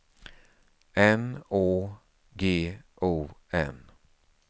N Å G O N